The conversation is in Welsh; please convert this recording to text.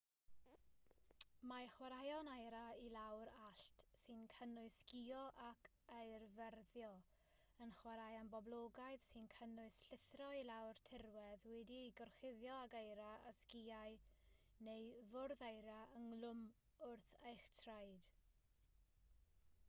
mae chwaraeon eira i lawr allt sy'n cynnwys sgïo ac eirfyrddio yn chwaraeon poblogaidd sy'n cynnwys llithro i lawr tirwedd wedi'i gorchuddio ag eira â sgïau neu fwrdd eira ynghlwm wrth eich traed